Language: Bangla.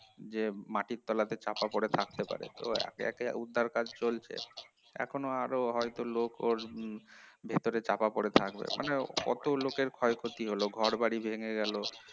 যে মাটির তলাতে চাপা পরে থাকতে পারে তো এখন উদ্ধারের কাজ চলছে এখনো আরো হয়তো লোক ওর ভেতরে চাপা পড়ে থাকবে মানে কত লোকের ক্ষয়ক্ষতি হলো ঘরবাড়ি ভেঙ্গে গেল